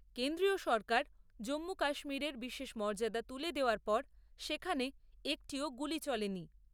কেন্দ্রীয় সরকার জম্মু কাশ্মীরের বিশেষ মর্যাদা তুলে দেওয়ার পর সেখানে একটিও গুলি চলেনি।